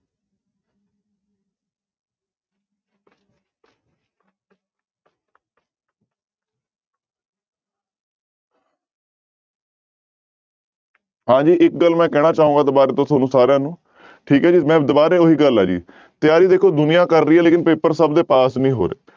ਹਾਂਜੀ ਇੱਕ ਗੱਲ ਮੈਂ ਕਹਿਣਾ ਚਾਹਾਂਗਾ ਦੁਬਾਰਾ ਤੋਂ ਤੁਹਾਨੂੰ ਸਾਰਿਆਂ ਨੂੰ ਠੀਕ ਹੈ ਜੀ ਮੈਂ ਦੁਬਾਰੇ ਉਹੀ ਗੱਲ ਹੈ ਜੀ ਤਿਆਰੀ ਦੇਖੋ ਦੁਨੀਆਂ ਕਰ ਰਹੀ ਹੈ ਲੇਕਿੰਨ ਪੇਪਰ ਸਭ ਦੇ ਪਾਸ ਨੀ ਹੋ ਰਹੇ।